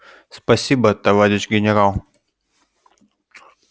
спасибо товарищ генерал